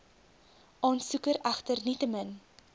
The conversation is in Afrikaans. aansoeker egter nietemin